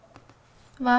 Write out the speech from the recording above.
var